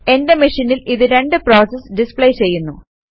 എന്റെ മെഷീനിൽ ഇത് രണ്ട് പ്രോസസസ് ഡിസ്പ്ലേ ചെയ്യുന്നു